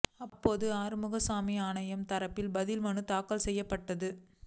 அப்போது ஆறுமுகசாமி ஆணையம் தரப்பில் பதில் மனு தாக்கல் செய்யப்பட்டது